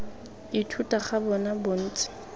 ithuta ga bona bo ntse